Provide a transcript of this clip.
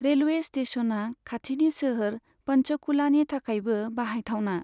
Railway स्टेश'ना खाथिनि सोहोर पंचकुलानि थाखायबो बाहायथावना।